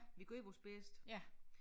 Vi gjorde vores bedste